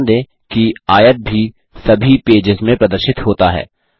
ध्यान दें कि आयत भी सभी पेजेस में प्रदर्शित होता है